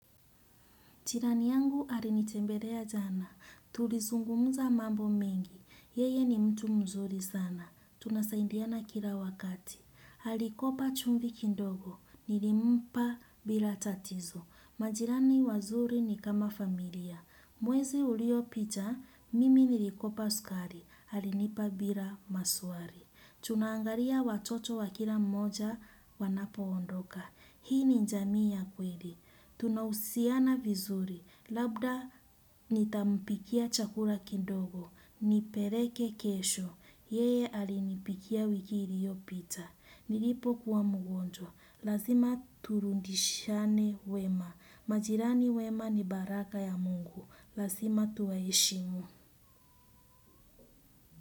Jirani yangu alinitembelea jana. Tulizungumza mambo mengi. Yeye ni mtu mzuri sana. Tunasaidiana kila wakati. Alikopa chumvi kidogo. Nilimpa bila tatizo. Majirani wazuri ni kama familia. Mwezi uliopita, mimi nilikopa sukari. Alinipa bila maswali. Tunangalia watoto wa kila mmoja wanapoondoka. Hii ni jamii ya kweli. Tunahusiana vizuri, labda nitampikia chakula kidogo, nipeleke kesho, yeye alinipikia wiki iliyopita. Nilipokuwa mgonjwa, lazima turudishane wema. Majirani wema ni baraka ya Mungu, lazima tuwaheshimu.